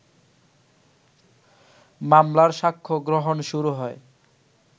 মামলার সাক্ষ্যগ্রহণ শুরু হয়